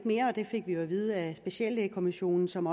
mere det fik vi jo at vide af speciallægekommissionen som